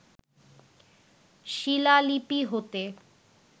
শিলালিপি হতে